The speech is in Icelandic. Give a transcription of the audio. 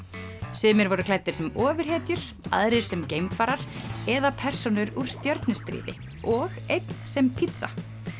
sumir voru klæddir sem ofurhetjur aðrir sem geimfarar eða persónur úr stjörnustríði og einn sem pítsa